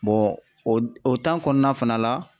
o kɔnɔna fana la